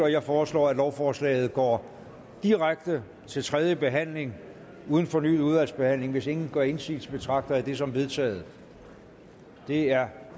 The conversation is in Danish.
jeg foreslår at lovforslaget går direkte til tredje behandling uden fornyet udvalgsbehandling hvis ingen gør indsigelse betragter jeg det som vedtaget det er